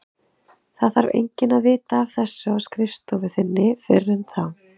Það þarf enginn að vita af þessu á skrifstofu þinni fyrr en þá.